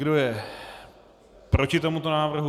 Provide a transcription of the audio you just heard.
Kdo je proti tomuto návrhu?